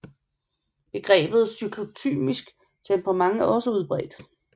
Begrebet cyklotymisk temperament er også udbredt